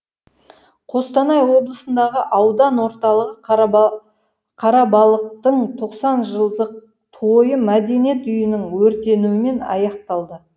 қостанай облысындағы аудан орталығы қарабалықтың тоқсан жылдық тойы мәдениет үйінің өртенуімен аяқталды